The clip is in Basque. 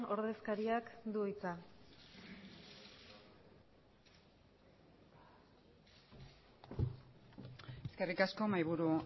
ordezkariak du hitza eskerrik asko mahaiburu